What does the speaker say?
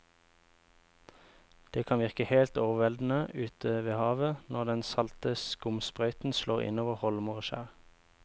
Det kan virke helt overveldende ute ved havet når den salte skumsprøyten slår innover holmer og skjær.